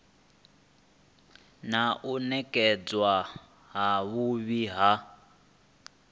na u nekedzwa havhui ha